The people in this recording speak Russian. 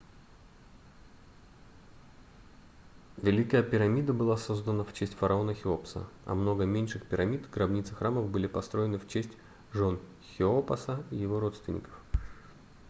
великая пирамида была создана в честь фараона хеопса а много меньших пирамид гробниц и храмов были построены в честь жён хеопаса и его родственников